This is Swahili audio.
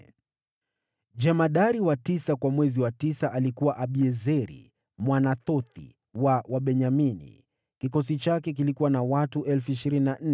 Jemadari wa tisa kwa mwezi wa tisa alikuwa Abiezeri Mwanathothi wa Wabenyamini. Kikosi chake kilikuwa na watu 24,000.